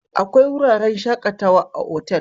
Akwai wuraren shakatawa a otal